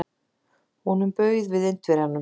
Honum bauð við Indverjanum.